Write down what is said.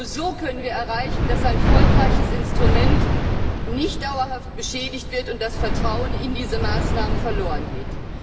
Denn nur so können wir erreichen, dass ein erfolgreiches Instrument nicht dauerhaft beschädigt wird und das Vertrauen in diese Maßnahmen nicht verlorengeht.